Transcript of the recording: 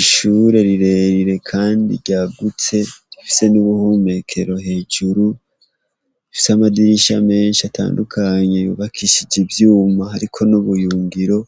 Ishure rirerire Kandi ryagutse, rifise n'ubuhomekero hejuru, rifise amadirisha menshi atandukanye yubakishije ivyuma hariko n'ubuyungiro,